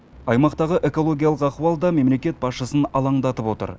аймақтағы экологиялық ахуал да мемлекет басшысын алаңдатып отыр